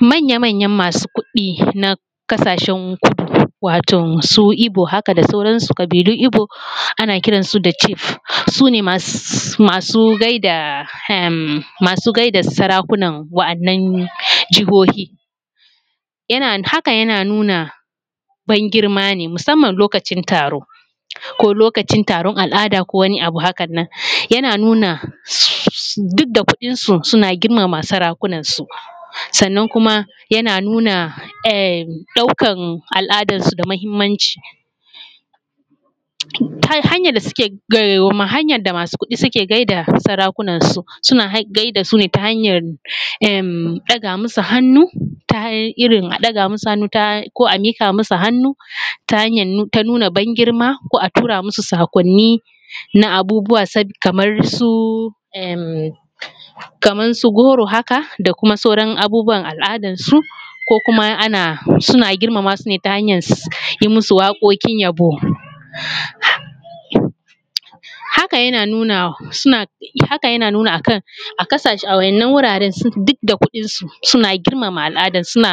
Manya manyan masu kuɗi na kasashen kudu waton su igbo haka da sauran su kabilun igbo ana kiran su da chief sune masu gaida saraku nan wa’anan jihohi haka yana nuna ban girma ne musamman lokacin taro ko lokacin al’ada ko wani abu haka nan yana nuna duk da kuɗinsu suna girma ma saraku nan su sannan kuma yana nuna ɗaukan al’adan su da mahimmanci, hanyar da masu kuɗi suke gaida saraku nan su suna gaida su ta hanyar ɗaga masu hannu ta irin a ɗaga hannu ko amiƙa musu hannu ta hanyar nuna ban girma ko atura musu saƙon ni na abubuwa kamar su goro haka da kuma sauran abubuwan al’adan su ko kuma ana suna girma masu ta hanyar yi musu waƙoƙin yabo haka yana nuna a wa’inan wuraren duk da kuɗinsu suna girma ma al’adun suna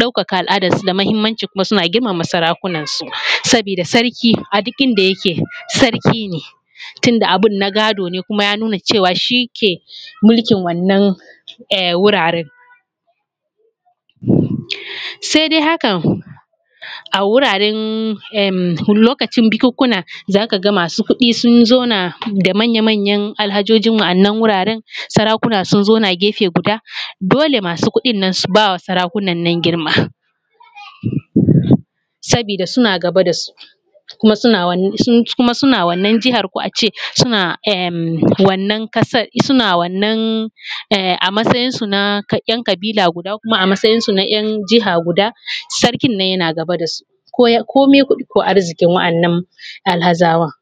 ɗauka ka al’adar su da mahimmanci kuma suna girma ma saraku nan su sabida sarki aduk inda yake sarki ne tunda abin na gado ne kuma ya nuna cewa shi ke mulkin wannan wuraren saidai hakan a wuraren lokacin bikun kuna zakaga masu kuɗi sun zauna da manya manyan alhajoji wa’annan wuraren saraku na sun zauna gefe guda dole masu kuɗin nan su bawa saraku nan girma sabida suna gaba dasu kuma suna wannan jihar ko ace suna wannan ƙasar suna wannan amatsayin su na ‘yan kabila guda kuma amatsayinsu na ‘yan jiha guda sarkin nan yana gaba dasu komin kuɗi ko arziƙin wa’annan alhazawan.